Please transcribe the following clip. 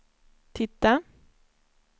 titta